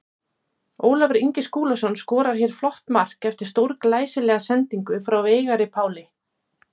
Ólafur Ingi Skúlason skorar hér flott mark eftir stórglæsilega sendingu frá Veigari Páli.